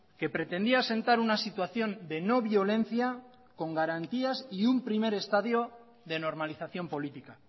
que pretendía asentar una situación de no violencia con garantías y un primer estadio de normalización política